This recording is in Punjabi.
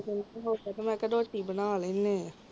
ਘੜੀ ਕ ਹੋ ਜਾਏ ਤੇ ਮੈਂ ਕਿਹਾ ਰੋਟੀ ਬਣਾ ਲੈਂਦੇ ਹਾਂ